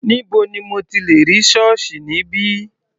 Níbo ni mo ti lẹ̀ rí ṣọ́ọ̀ṣì níbí?